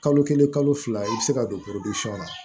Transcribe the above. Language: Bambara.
Kalo kelen kalo fila i bɛ se ka don na